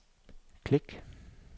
klik